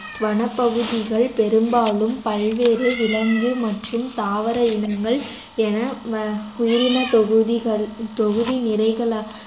வனப்பகுதிகள் பெரும்பாலும் பல்வேறு விலங்கு மற்றும் தாவர இனங்கள் என வ~ உயிரினத்தொகுதிகள் தொகுதி நிறைக~